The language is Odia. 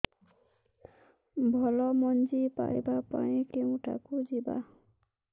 ଭଲ ମଞ୍ଜି ପାଇବା ପାଇଁ କେଉଁଠାକୁ ଯିବା